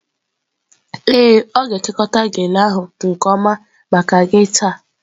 Ee, ọ ga-ekekọta gele ahụ nke ọma maka gị taa.